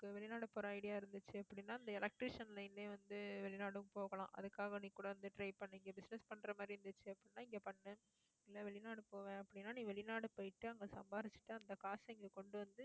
உனக்கு வெளிநாடு போற idea இருந்துச்சு அப்படின்னா இந்த electrician line லயே வந்து, வெளிநாடும் போகலாம். அதுக்காக நீ கூட வந்து, try பண்ணி இங்க business பண்ற மாதிரி இருந்துச்சு அப்படின்னா இங்க பண்ணு இல்ல வெளிநாடு போவேன் அப்படின்னா நீ வெளிநாடு போயிட்டு அங்க சம்பாரிச்சிட்டு அந்த காசை இங்க கொண்டு வந்து